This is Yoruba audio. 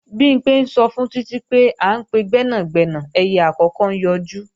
Bimpé sọ fún Títí pé, à ń pe gbẹ́nàgbẹ́nà ẹyẹ àkókó ń yọjú